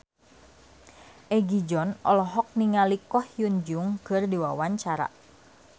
Egi John olohok ningali Ko Hyun Jung keur diwawancara